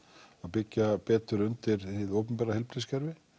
byggja betur undir hið opinbera heilbrigðiskerfi